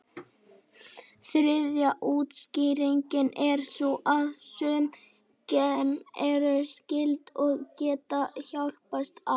Þriðja útskýringin er sú að sum gen eru skyld, og geta hjálpast að.